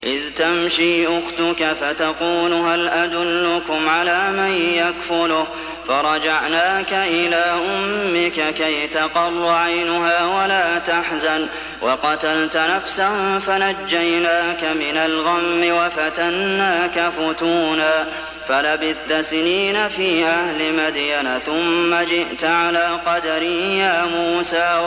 إِذْ تَمْشِي أُخْتُكَ فَتَقُولُ هَلْ أَدُلُّكُمْ عَلَىٰ مَن يَكْفُلُهُ ۖ فَرَجَعْنَاكَ إِلَىٰ أُمِّكَ كَيْ تَقَرَّ عَيْنُهَا وَلَا تَحْزَنَ ۚ وَقَتَلْتَ نَفْسًا فَنَجَّيْنَاكَ مِنَ الْغَمِّ وَفَتَنَّاكَ فُتُونًا ۚ فَلَبِثْتَ سِنِينَ فِي أَهْلِ مَدْيَنَ ثُمَّ جِئْتَ عَلَىٰ قَدَرٍ يَا مُوسَىٰ